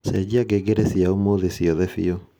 cenjia ngengere cia ūmūthi ciothe biũ